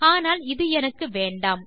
ஆனால் இது எனக்கு வேண்டாம்